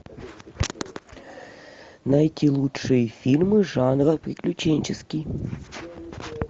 найти лучшие фильмы жанра приключенческий